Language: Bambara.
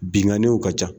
Binganniw ka ca